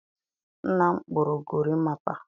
Nna m kpụrụ gorimapa.